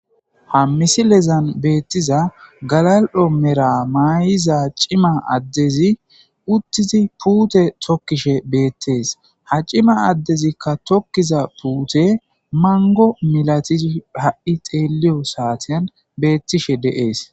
Ha misilezan beettiza galal7o Mera maaayiza cima addezi uttizi puute tokkishe beettees. Ha cima addezi tokkiza puuye manggo milatizi ha7i xeelliyo saatiyan beettishe de7ees.